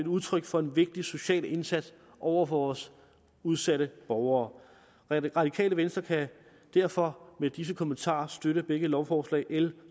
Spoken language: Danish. udtryk for en vigtig social indsats over for vores udsatte borgere radikale venstre kan derfor med disse kommentarer støtte begge lovforslag l